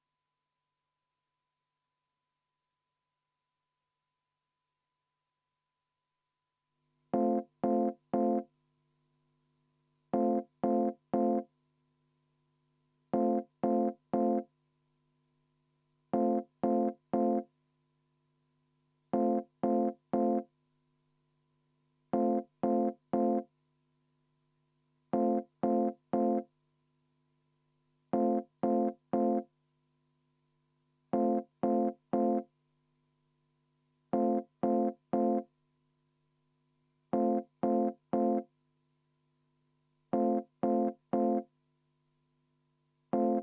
Ma soovin EKRE fraktsiooni nimel seda muudatusettepanekut hääletada, sest mõned sõnad tuleks siit välja jätta, kuna puudub seos andmebaasiga.